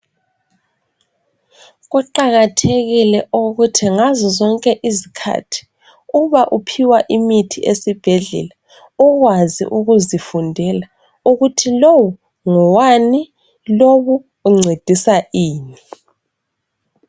Kuqakathekile ukuthi ngazo zonke izkhathi, uba uphiwa imithi esibhedlela, ukwazi ukuzifundela ukuthi lowu ngowani, lowu uncedisa ini.